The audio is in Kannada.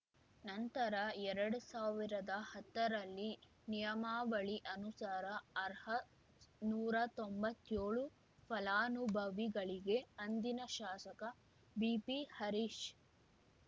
ನಂತರ ಎರಡು ಸಾವಿರದ ಹತ್ತರಲ್ಲಿ ನಿಯಮಾವಳಿ ಅನುಸಾರ ಅರ್ಹ ನೂರಾ ತೊಂಬತ್ತೇಳು ಫಲಾನುಭವಿಗಳಿಗೆ ಅಂದಿನ ಶಾಸಕ ಬಿಪಿ ಹರೀಶ್‌